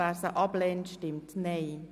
Wer sie ablehnt, stimmt Nein.